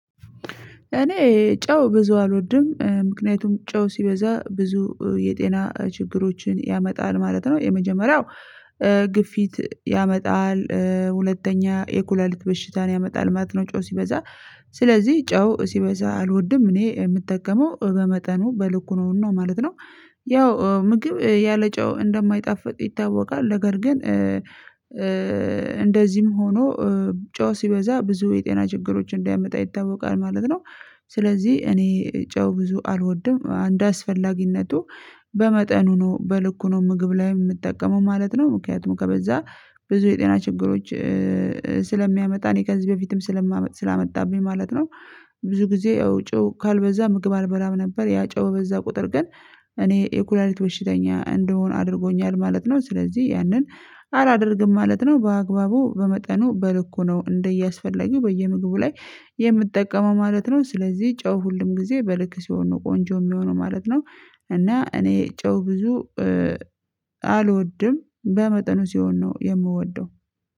እኔ ጨው ብዙ አልወድም ምክንያቱም ጨው ሲበዛ ብዙ የጤና ችግሮችን ያመጣል ማለት ነው። የመጀመሪያው ግፊት ያመጣል ሁለተኛ የኩለልት በሽታን ያመጣል ማለት ነው። ጨው ሲበዛ ስለዚህ ጨው ሲበዛ አልወድም እኔ የምጠቀመው በመጠኑ በልኩ ነው። እና ማለት ነው ያው ምግብ ያለጨው እንደማይጣፍጥ ይታወቃል ነገር ግን እንደዚህም ሆኖ ጨው ሲበዛ ብዙ የጤና ችግሮችን እንደሚያመጣ ይታወቃል ማለት ነው። ስለዚህ እኔ ጨው ብዙ አልወድም እንደ አስፈላጊነቱ በመጠኑ ነው በልኩ ነው ምግብ ላይ የምጠቀመው ማለት ነው። ምክንያቱም ከበዛ ብዙ የጤና ችግሮች ስለሚያመጣ እኔ ከዚህ በፊትም ስላመጣብኝ ማለት ነው። ብዙ ጊዜ ያው ጨው ካልበዛ ምግብ አልበላም ነበር ያ ጨው በበዛ ቁጥር ግን እኔ የኩላሊት በሽተኛ እንድሆን አድርጎኛል ማለት ነው። ስለዚህ ያንን አላደርግም ማለት ነው በአግባቡ በመጠኑ በልኩ ነው እንደየ አስፈላጊው በየምግቡ ላይ የምትጠቀመው ማለት ነው። ስለዚህ ጨው በሁሉም ጊዜ በልክ ሲሆን ነው ቆንጆ የሚሆነው ማለት ነው። እና እኔ ጨው ብዙ አልወድም በመጠኑ ሲሆን ነው የምወደው